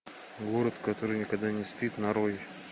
город который никогда не спит нарой